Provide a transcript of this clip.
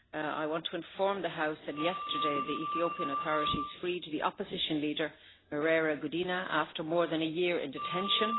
I want to inform the House that yesterday the Ethiopian authorities freed the opposition leader Merera Gudina after more than a year in detention.